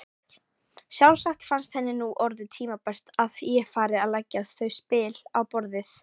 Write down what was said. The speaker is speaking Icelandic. Sjálfsagt fannst henni nú orðið tímabært að ég færi að leggja þau spil á borðið!